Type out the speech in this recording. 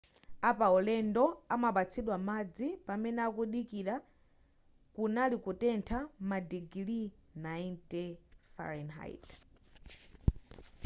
apaulendo anapatsidwa madzi pamene amadikira kunali kutentha madigiri 90 f